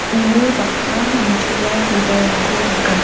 uno bang·a nitoa bibalrangko nika.